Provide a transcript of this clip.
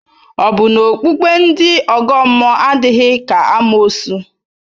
Ọ̀ bụ na okpukpe ndị ọgọ mmụọ adịghị ka amoosu?